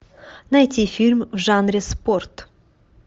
найти фильм в жанре спорт